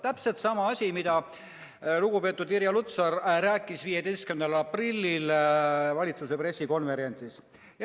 Täpselt sama asi, mida lugupeetud Irja Lutsar rääkis 15. aprillil valitsuse pressikonverentsil.